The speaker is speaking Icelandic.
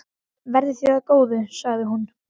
Verði þér að góðu, sagði hún.